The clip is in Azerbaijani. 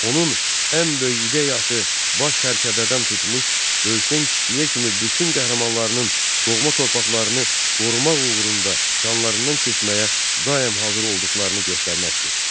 Onun ən böyük ideyası baş sərkərdədən tutmuş böyükdən-kiçiyə kimi bütün qəhrəmanlarının doğma torpaqlarını qorumaq uğrunda canlarından keçməyə daim hazır olduqlarını göstərməkdir.